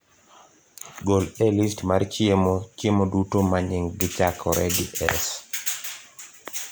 Gol e list mar chiemo chiemo duto ma nyinggi chakore gi "S